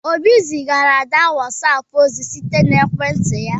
Obi zigara Ada whatapp ozi site na ekwentị ya